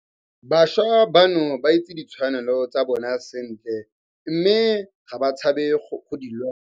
Bašwa bano ba itse ditshwanelo tsa bona sentle mme ga ba tshabe go di lwela.